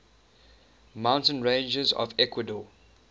mountain ranges of ecuador